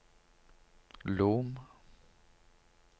Lom